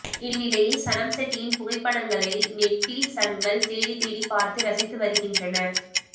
இந்நிலையில் சனம் ஷெட்டியின் புகைப்படங்களை நெட்டிசன்கள் தேடித்தேடி பார்த்து ரசித்து வருகின்றனர்